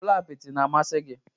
Ụlọ apịtị na-amasị gị?